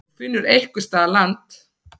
Þú finnur einhvers staðar land.